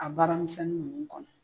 A baramisɛnnin nunnu kɔnɔ